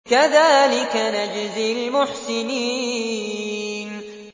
كَذَٰلِكَ نَجْزِي الْمُحْسِنِينَ